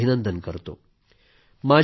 सर्वांचे अभिनंदन करतो